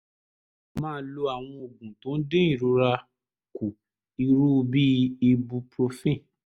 máa lo àwọn oògùn tó ń dín ìrora kù irú bíi ibuprofen